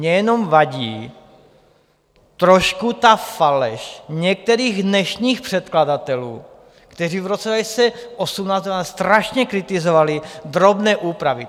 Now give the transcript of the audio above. Mně jenom vadí trošku ta faleš některých dnešních předkladatelů, kteří v roce 2018 strašně kritizovali drobné úpravy.